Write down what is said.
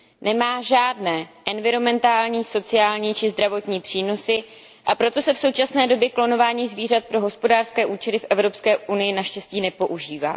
Nemá žádné environmentální, sociální či zdravotní přínosy, a proto se v současné době klonování zvířat pro hospodářské účely v EU naštěstí nepoužívá.